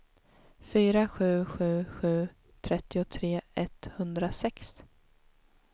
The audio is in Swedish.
fyra sju sju sju trettiotre etthundrasex